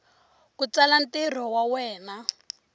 ku tsala ntirho wa wena